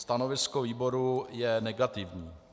Stanovisko výboru je negativní.